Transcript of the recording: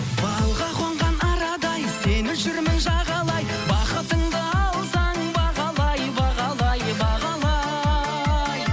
балға қонған арадай сені жүрмін жағалай бақытыңды алсаң бағалай бағалай бағалай